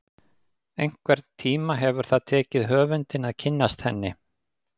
Einhvern tíma hefur það tekið höfundinn að kynnast henni.